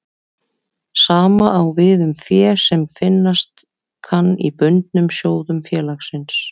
Sama á við um fé sem finnast kann í bundnum sjóðum félagsins.